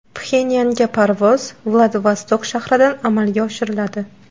Pxenyanga parvoz Vladivostok shahridan amalga oshiriladi.